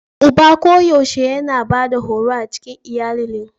Uba koyaushe yana Bada horo a cikin iyalilin.